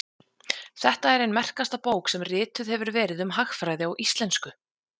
Þetta er ein merkasta bók sem rituð hefur verið um hagfræði á íslensku.